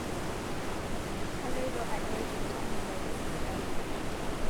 Kaloito adol ltamoyia tesipitali